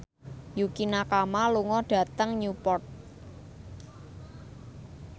Yukie Nakama lunga dhateng Newport